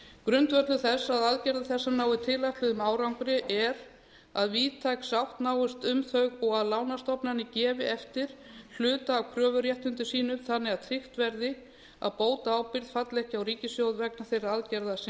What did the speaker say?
grundvöllur þess að aðgerðir þessar nái tilætluðum árangri er að víðtæk sátt náist um þau og að lánastofnanir gefi eftir hluta af kröfuréttindum sínum þannig að tryggt verði að bótaábyrgð falli ekki á ríkissjóð vegna þeirra aðgerða sem